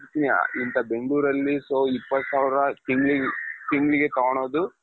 ಇಂತ ಬೆಂಗಳೂರಲ್ಲಿ so ಇಪ್ಪತ್ತು ಸಾವಿರ ತಿಂಗಳಿಗೆ ತಗೊಳೋದು,